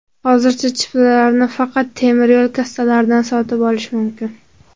Hozircha chiptalarni faqat temiryo‘l kassalaridan sotib olish mumkin.